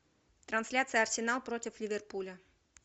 трансляция арсенал против ливерпуля